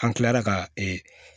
An kilara ka